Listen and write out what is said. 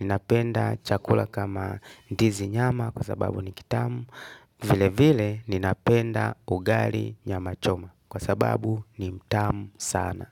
Ninapenda chakula kama ndizi nyama kwa sababu ni kitamu. Vile vile ninapenda ugali nyama choma kwa sababu ni mtamu sana.